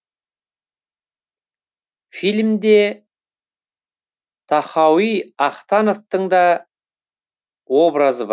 фильмде тахауи ахтановтың та образы бар